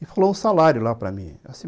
E falou o salário lá para mim assim